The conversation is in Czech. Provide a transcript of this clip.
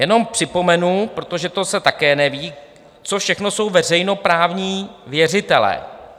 Jenom připomenu, protože to se také neví, co všechno jsou veřejnoprávní věřitelé.